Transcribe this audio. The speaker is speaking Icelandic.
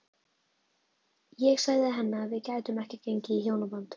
Ég sagði henni að við gætum ekki gengið í hjónaband.